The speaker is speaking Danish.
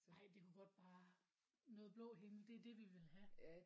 Nej det må godt bare noget blå himmel det er det vi vil have